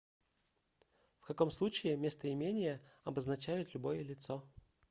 в каком случае местоимения обозначают любое лицо